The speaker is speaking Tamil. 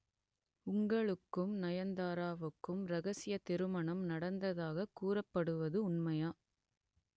உங்களுக்கும் நயன்தாராவுக்கும் ரகசிய திருமணம் நடந்ததாக கூறப்படுவது உண்மையா